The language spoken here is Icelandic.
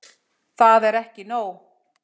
Það er ekki nóg.